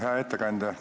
Hea ettekandja!